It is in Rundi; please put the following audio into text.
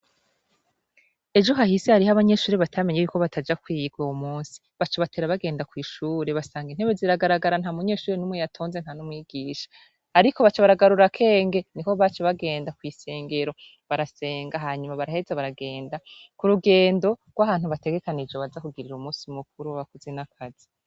Ejo hahise hariho abanyeshure batamene ko bagenda kwiga uyu munsi baca batera bagenda kw'ishure basanga intebe ziragaragara nta munyeshure n'umwe yatonse nta n'umwigisha ariko baca baragurura akenge niho baca bagenda kw'isengero barasenga hanyuma baraheza baragenda ku rugendo rw'ahantu bategekanije baza kugirira umunsi mukuru w'abakozi n'akazi.